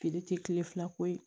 Feere tɛ kile fila ko ye